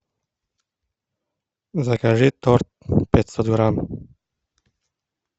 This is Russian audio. закажи торт пятьсот грамм